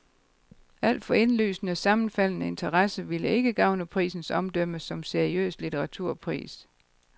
Alt for indlysende sammenfaldende interesser ville ikke gavne prisens omdømme som seriøs litteraturpris.